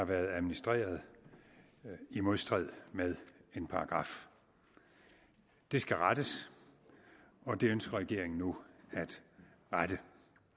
har været administreret i modstrid med en paragraf det skal rettes og det ønsker regeringen nu at rette